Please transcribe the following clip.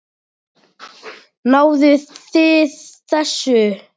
Náðuð þið þessu?